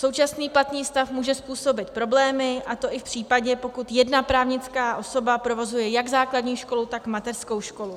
Současný platný stav může způsobit problémy, a to i v případě, pokud jedna právnická osoba provozuje jak základní školu, tak mateřskou školu.